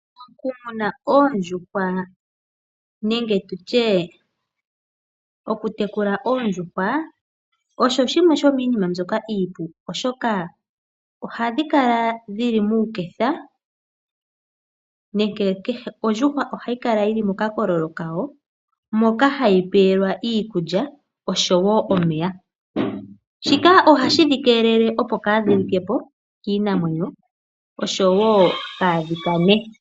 Mokumuna oondjuhwa nenge tutye oku tekula oondjuhwa, osho shimwe sho miinima mbyoka iipu oshoka ohadhi kala dhili muuketha nenge kehe ondjuhwa ohayi kala yili mokakololo kayo moka hayi peyelwa iikulya osho woo omeya . Shika ohashi dhi keelele opo kadhi likepo kiinamwenyo osho woo kaadhi kane .